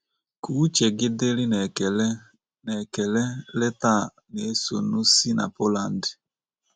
Ka uche gị dịrị n'ekele n'ekele leta a na-esonu si na Poland